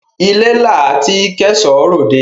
Ilé la tí k'ẹ̀ṣọ́ r'òdẹ.